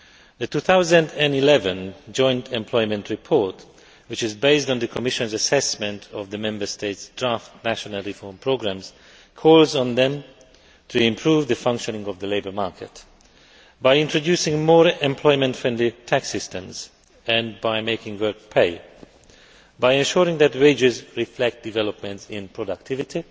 The 2011 Joint Employment Report, which is based on the Commission's assessment of the Member States' draft national reform programmes, calls on them to improve the functioning of the labour market by introducing more employment friendly tax systems and by making work pay, ensuring that wages reflect developments in productivity,